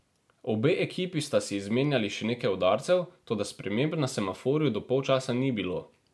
Obe ekipi sta si izmenjali še nekaj udarcev, toda sprememb na semaforju do polčasa ni bilo.